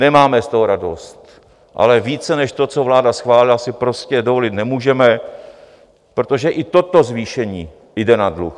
Nemáme z toho radost, ale více než to, co vláda schválila, si prostě dovolit nemůžeme, protože i toto zvýšení jde na dluh.